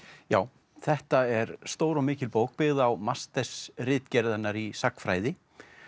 já þetta er stór og mikil bók byggð á mastersritgerð hennar í sagnfræði